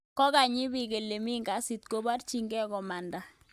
Kokakonyi biik ole mi ngasit, ko barchingei komanda